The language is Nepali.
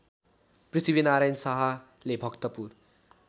पृथ्वीनारायण शाहले भक्तपुर